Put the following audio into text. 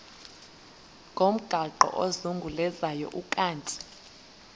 ngomgaqo ozungulezayo ukanti